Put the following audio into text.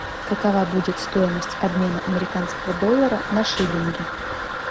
какова будет стоимость обмена американского доллара на шиллинги